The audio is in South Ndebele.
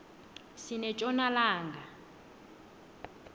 sinetjona langa